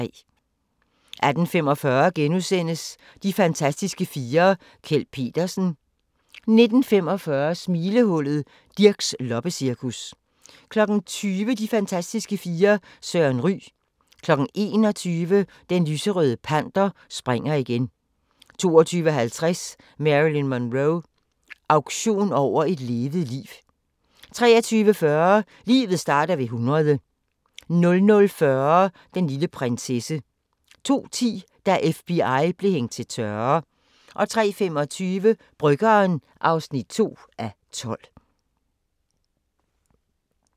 18:45: De fantastiske fire: Kjeld Petersen * 19:45: Smilehullet: Dirchs loppecirkus 20:00: De fantastiske fire: Jørgen Ryg 21:00: Den Lyserøde Panter springer igen 22:50: Marilyn Monroe – auktion over et levet liv 23:40: Livet starter ved 100 00:40: Den lille prinsesse 02:10: Da FBI blev hængt til tørre 03:25: Bryggeren (2:12)